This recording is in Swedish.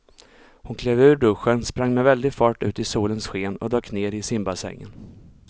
Hon klev ur duschen, sprang med väldig fart ut i solens sken och dök ner i simbassängen.